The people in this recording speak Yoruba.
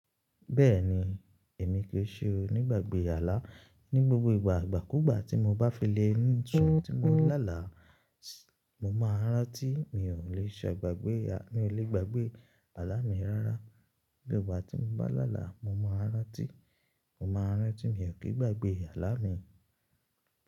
Bẹ́ẹ̀ni èmi kì í ṣe onígbàgbé àlá. Ní gbogbo ìgbà ìgbàkúgbà tí mo bá fi le sùn tí mo láàlá, mo máa rántí mi ò lè ṣe gbagbè àlá mi rárá. Nígbà tí mo bá làálá, mo máa rántí, mo máa rántí mi ò kí n gbagbè àlá mi.